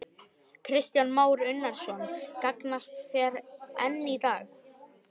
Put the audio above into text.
Kristján Már Unnarsson: Gagnast þær enn í dag?